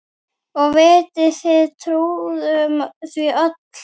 Og við trúðum því öll.